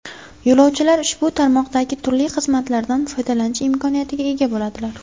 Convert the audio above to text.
Yo‘lovchilar ushbu tarmoqdagi turli xizmatlardan foydalanish imkoniyatiga ega bo‘ladilar.